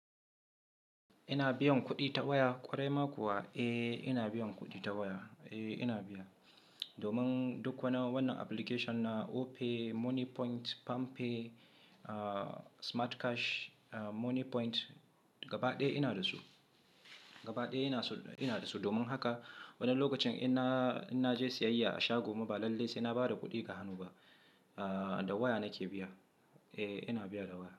Ina biyan kuɗi ta waya ƙwarai ma kuwa? Eh ina biyan kuɗi ta waya. Eh ina biya. Domin duk wani wannan application na Opay, Moniepoint, Palmpay, Smartcash, Moniepoint gaba ɗaya ina da su. Gaba ɗaya ina so ina da su. Domin haka wani lokacin in na je siyayya a shago ma ba lallai sai na ba da kuɗi ga hannu ba. Ah da waya nake biya. Eh ina biya da waya.